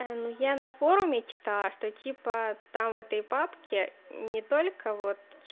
ну я на форуме читала что типа там в этой папке не только вот